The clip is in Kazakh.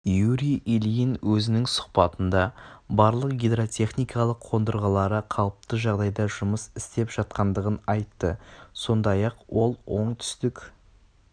юрий ильин өзінің сұхбатында барлық гидротехникалық қондырғылары қалыпты жағдайда жұмыс істеп жатқандығын айтты сондай-ақ ол оңтүстік